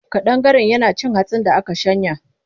Ƙadangaren yana cin hatsin da aka shanya.